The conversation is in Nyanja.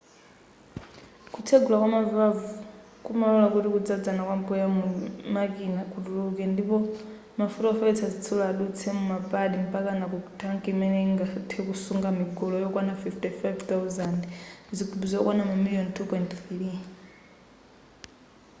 kutsegula kwama valve kumalora kuti kudzadzana kwa mpweya mu makina kutuluke ndipo mafuta ofewetsa zitsulo adutse muma pad mpakana ku thanki imene ingathe kusunga migolo yokwana 55,000 zigubu zokwana mamiliyoni 2.3